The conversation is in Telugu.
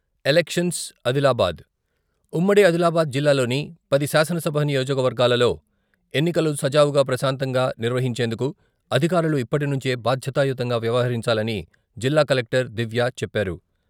ఎలక్షన్స్ ఆదిలాబాద్ - ఉమ్మడి ఆదిలాబాద్ జిల్లాలోని పది శాసనసభ నియోజకవర్గాలలో ఎన్నికలు సజావుగా ప్రశాంతంగా నిర్వహించేందుకు అధికారులు ఇప్పటినుంచే బాధ్యతాయుతంగా వ్యవహరించాలని జిల్లా కలెక్టర్ దివ్య చెప్పారు.